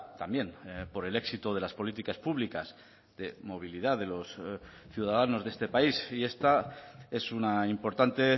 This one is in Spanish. también por el éxito de las políticas públicas de movilidad de los ciudadanos de este país y esta es una importante